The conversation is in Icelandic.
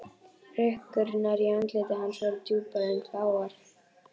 Hrukkurnar í andliti hans voru djúpar en fáar.